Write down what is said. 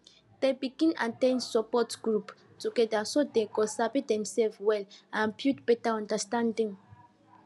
dem begin at ten d support group together so dem go sabi themselves well and build better understanding